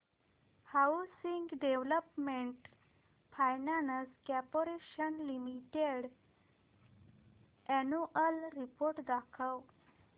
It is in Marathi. housing development finance corporation limited annual report दाखव